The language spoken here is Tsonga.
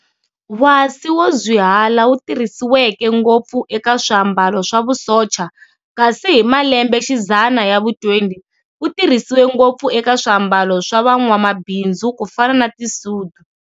Wasi wo zhwihala wu tirhisiweke ngopfu eka swa'ambalo swa vusocha, kasi hi malenmbe xidzana ya vu 20, wu tirhisiwe ngopfu eka swambalo swa vamambindzu kufana na ti sudu.